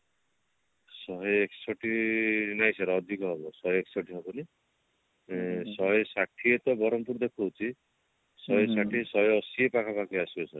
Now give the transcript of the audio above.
ଶହେ ଏକଷଠି ନାଇଁ sir ଅଧିକ ହବ ଶହେ ଏକଷଠି ହବନି ଶହେ ଷାଠିଏ ତ ବରହମପୁର ଦେଖୋଉଛି ଶହେ ଷାଠିଏ ଶହେ ଅଶି ପାଖାପାଖି ଆସିବ sir